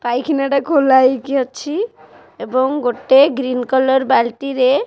ପାଇଖିନା ଟା ଖୋଲା ହେଇକି ଅଛି ଏବଂ ଗୋଟେ ଗ୍ରୀନ କଲର୍ ବାଲ୍ଟି ରେ --